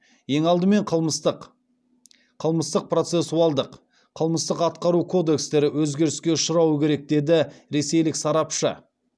ең алдымен қылмыстық қылмыстық процессуалдық қылмыстық атқару кодекстері өзгеріске ұшырауы керек деді ресейлік сарапшы